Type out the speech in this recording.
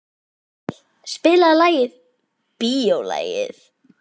Amil, spilaðu lagið „Bíólagið“.